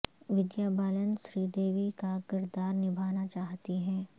ودیا Balan Sridevi کا کردار نبھانا چاہتی ہیں